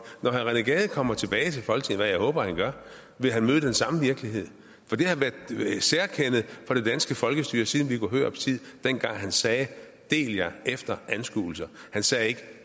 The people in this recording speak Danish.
når herre rené gade kommer tilbage til folketinget hvad jeg håber han gør vil han møde den samme virkelighed for det har været et særkende for det danske folkestyre siden viggo hørups tid dengang han sagde del jer efter anskuelser han sagde ikke